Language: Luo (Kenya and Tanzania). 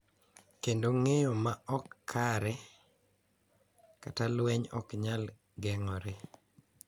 Kendo ng’eyo ma ok kare kata lweny ok nyal geng’ore.